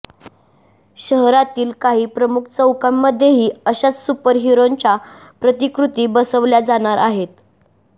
शहरातील काही प्रमुख चौकांमध्येही अशाच सुपरहिरोंच्या प्रतिकृती बसवल्या जाणार आहेत